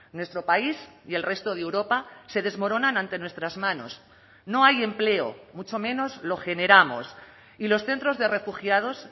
nuestro país y el resto de europa se desmoronan ante nuestras manos no hay empleo mucho menos lo generamos y los centros de refugiados